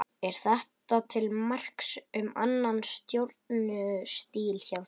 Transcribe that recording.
Er þetta til marks um annan stjórnunarstíl hjá þér?